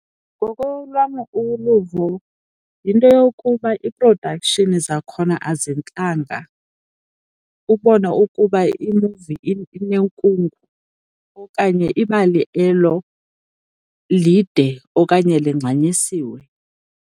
Ngokolwam uluvo yinto yokuba i-production zakhona azintlanga, ubone ukuba imuvi inekungu okanye ibali elo lide okanye langxanyisiwe.